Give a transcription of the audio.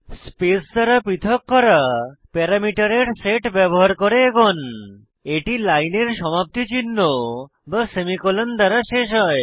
space দ্বারা পৃথক করা প্যারামিটারের সেট ব্যবহার করে এগোন এটি লাইনের সমাপ্তি চিহ্ন বা সেমিকোলন দ্বারা শেষ হয়